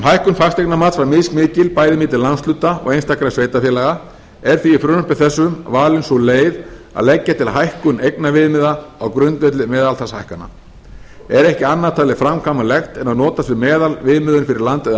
hækkun fasteignamats var mismikil bæði milli landshluta og einstakra sveitarfélaga er í frumvarpi þessu valin sú leið að leggja til hækkun eignaviðmiða á grundvelli meðaltalshækkana er ekki annað talið framkvæmanlegt en að notast við meðalviðmiðun fyrir landið